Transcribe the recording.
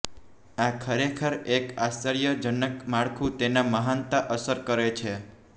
આ ખરેખર એક આશ્ચર્યજનક માળખું તેના મહાનતા અસર કરે છે